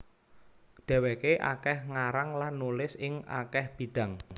Dhèwèké akèh ngarang lan nulis ing akèh bidang